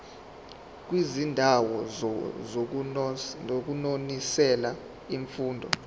kwizindawo zokunonisela imfuyo